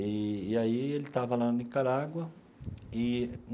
E e aí ele estava lá na Nicarágua e.